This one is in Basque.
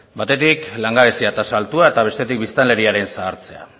batetik langabezia tasa altua eta bestetik biztanleriaren zahartzea